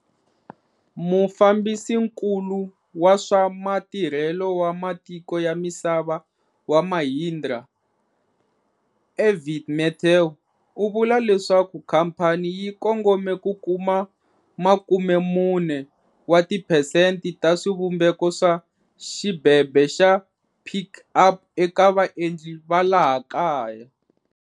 Mufambisinkulu wa swa Matirhelo wa Matiko ya Misava wa Mahindra, Arvind Mathew u vule leswaku khamphani yi kongome ku kuma 40 wa tiphesente ta swivumbeko swa xibebe xa Pik Up eka vaendli va laha kaya.